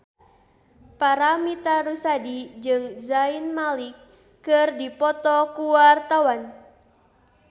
Paramitha Rusady jeung Zayn Malik keur dipoto ku wartawan